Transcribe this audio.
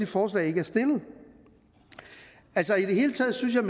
forslag ikke er stillet altså i det hele taget synes jeg